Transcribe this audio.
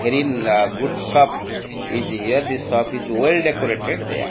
very na good shop is here the shop is well decorated there.